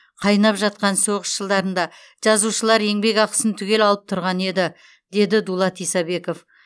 қайнап жатқан соғыс жылдарында жазушылар еңбекақысын түгел алып тұрған еді деді дулат исабеков